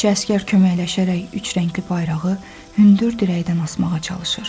Bir neçə əsgər köməkləşərək üçrəngli bayrağı hündür dirəkdən asmağa çalışır.